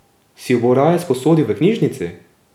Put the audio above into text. Si jo bo raje sposodil v knjižnici?